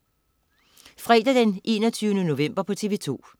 Fredag den 21. november - TV2: